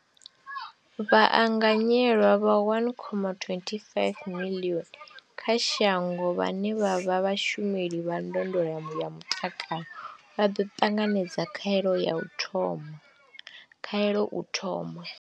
Vhaanganyelwa vha 1.25 miḽioni kha shango vhane vha vha vhashumeli vha ndondolo ya mutakalo vha ḓo ṱanganedza khaelo u thoma.